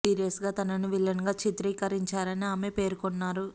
serious గా తనను villain గా చిత్రీకరించారని ఆమె పేర్కొన్నారు